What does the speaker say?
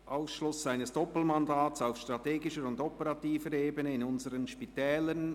«Ausschluss eines Doppelmandats auf strategischer und operativer Ebene in unseren Spitälern».